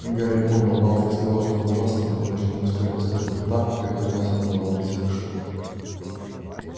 гарри понял малфой сказал что-то ужасное потому что не успел он закрыть рта как поднялся невообразимый шум